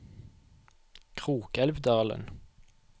Krokelvdalen